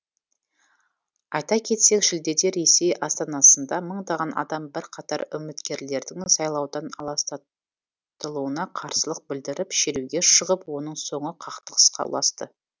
айта кетсек шілдеде ресей астанасында мыңдаған адам бірқатар үміткерлердің сайлаудан аластатылуына қарсылық білдіріп шеруге шығып оның соңы қақтығысқа ұласты